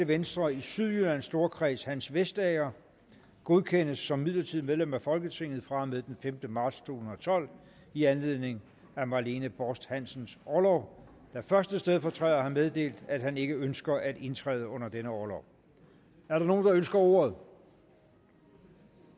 venstre i sydjyllands storkreds hans vestager godkendes som midlertidigt medlem af folketinget fra og med den femte marts to tusind og tolv i anledning af marlene borst hansens orlov da første stedfortræder har meddelt at han ikke ønsker at indtræde under denne orlov er der nogen der ønsker ordet